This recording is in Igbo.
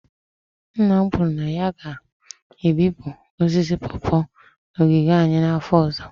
Nna m kwuru na ya ga-ebipụ osisi pawpaw n'ogige anyị n'afọ ọzọ